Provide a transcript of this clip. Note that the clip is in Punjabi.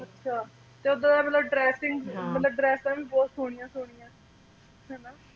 ਅੱਛਾ ਉੱਥੇ ਤਾਂ ਮਤਲਬ dressing ਮਤਲਬ ਡਰੈੱਸਾਂ ਵੀ ਬਹੁਤ ਸੋਹਣਿਆ ਸੋਹਣਿਆ ਹੈ ਨਾ